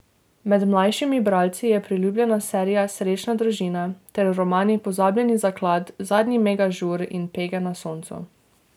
Med mlajšimi bralci je priljubljena serija Srečna družina ter romani Pozabljeni zaklad, Zadnji mega žur in Pege na soncu.